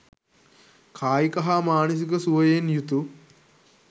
කායික හා මානසික සුවයෙන් යුතු